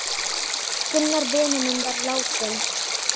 Gunnar vinur minn var látinn.